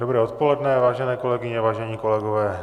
Dobré odpoledne, vážené kolegyně, vážení kolegové.